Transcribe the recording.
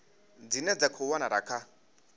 dzine dza khou wanala kha